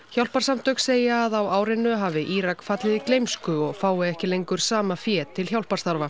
hjálparsamtök segja að á árinu hafi Írak fallið í gleymsku og fái ekki lengur sama fé til hjálparstarfa